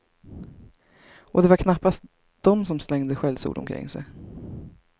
Och det var knappast de som slängde skällsord omkring sig.